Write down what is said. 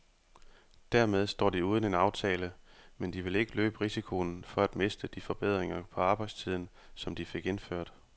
Dermed står de uden en aftale, men de vil ikke løbe risikoen for at miste de forbedringer på arbejdstiden, som de fik indført.